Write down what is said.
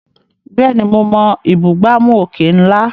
Bẹ́ẹ̀ni, mo mọ ìbúgbàmù òkè ńlá.